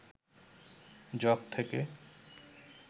jug থেকে